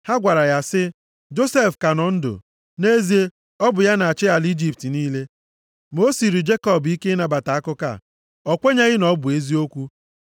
Ha gwara ya sị, “Josef ka nọ ndụ. Nʼezie, ọ bụ ya na-achị ala Ijipt niile.” Ma o siiri Jekọb ike ịnabata akụkọ a. O kwenyeghị na ọ bụ eziokwu.